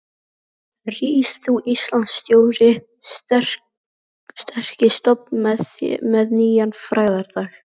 Rís þú, Íslands stóri, sterki stofn með nýjan frægðardag.